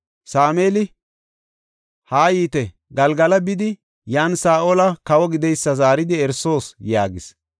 Sameeli, “Haayite; Galgala bidi, yan Saa7oli kawo gideysa zaaridi erisoos” yaagis.